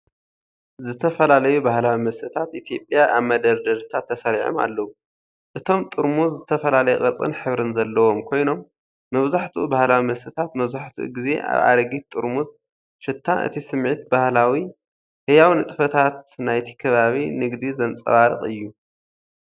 ዝተፈላለዩ ባህላዊ መስተታት ኢትዮጵያ ኣብ መደርደሪታት ተሰሪዖም ኣለዉ። እቶም ጥርሙዝ ዝተፈላለየ ቅርጽን ሕብርን ዘለዎም ኮይኖም፡ መብዛሕትኡ ባህላዊ መስተታት መብዛሕትኡ ግዜ ኣብ ኣረጊት ጥርሙዝ ሽታ። እቲ ስምዒት ባህላዊ፡ ህያው፡ ንንጥፈታት ናይቲ ከባቢ ንግዲ ዘንጸባርቕ እዩ።